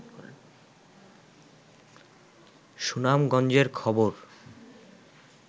সুনামগঞ্জের খবর